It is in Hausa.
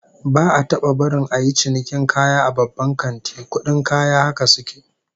Ba'a taba barin a yi cinikin kaya a babban kanti, kudin kaya haka suke